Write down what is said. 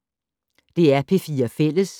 DR P4 Fælles